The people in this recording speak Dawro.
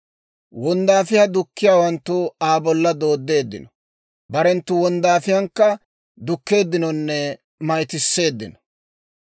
Wonddaafiyaa dukkiyaawanttu Aa bolla dooddeeddino; barenttu wonddaafiyaankka, dukkeeddinonne mayttiseeddino.